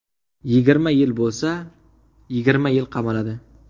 Yigirma yil bo‘lsa, yigirma yil qamaladi.